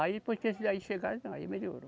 Aí depois que esses aí chegaram, não, aí melhorou.